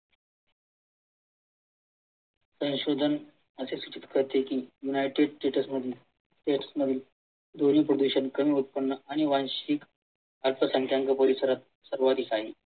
संशोधन अस सूचित करते की युनाइटेड स्टेट्स मधून हेच नवीन ध्वनी प्रदूषण कमी उत्पन्न आणि वार्षिक अर्थसंख्यांक परिसरात सर्वाधिक आहे